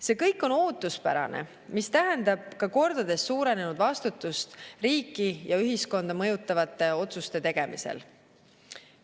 See kõik on ootuspärane, mis tähendab ka kordades suurenenud vastutust riiki ja ühiskonda mõjutavate otsuste tegemisel.